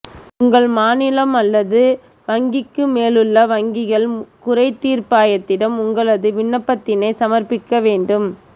உங்கள் மாநிலம் அல்லது வங்கிக்கு மேலுள்ள வங்கிகள் குறை தீர்ப்பாயத்திடம் உங்களது விண்ணப்பத்தினை சமர்ப்பிக்க வேண்டும்